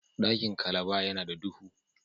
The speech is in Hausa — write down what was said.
Dakin Calaba ya na da dubu.